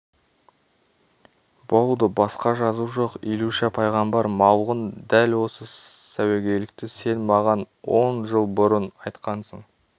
болды басқа жазу жоқ илюша пайғамбар малғұн дәл осы сәуегейлікті сен маған он жыл бұрын айтқансың